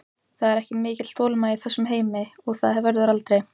Það er ekki mikil þolinmæði í þessum heimi og það verður aldrei.